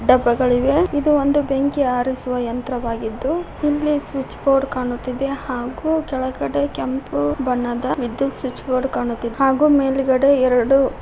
ಡಬ್ಬಗಳಿವೆ ಇದು ಒಂದು ಬೆಂಕಿ ಹಾರಿಸುವ ಯಂತ್ರವಾಗಿದ್ದು ಇಲ್ಲಿ ಸ್ವಿಚ್ ಬೋರ್ಡ್ ಕಾಣುತ್ತಿದೆ ಹಾಗು ಕೆಳಗಡೆ ಕೆಂಪು ಬಣ್ಣದ ವಿದ್ಯುತ್ ಸ್ವಿಚ್ ಬೋರ್ಡ್ ಕಾಣುತ್ತಿದೆ ಹಾಗೂ ಮೇಲ್ಗಡೆ ಎರಡು--